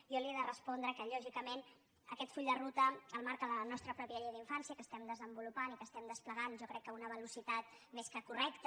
jo li he de respondre que lògicament aquest full de ruta el marca la nostra pròpia llei d’infància que estem desenvolupant i que estem desplegant jo ho crec a una velocitat més que correcta